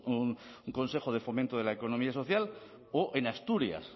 un consejo de fomento de la economía social o en asturias